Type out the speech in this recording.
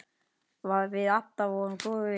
Við Adda vorum góðir vinir.